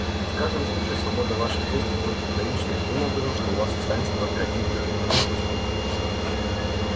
и в каждом случае свобода ваших действий будет ограничена таким образом что у вас останется только один выход один путь